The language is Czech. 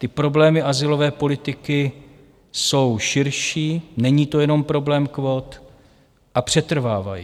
Ty problémy azylové politiky jsou širší, není to jenom problém kvót, a přetrvávají.